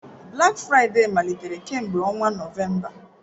Black Friday malitere kemgbe ọnwa Nọvemba.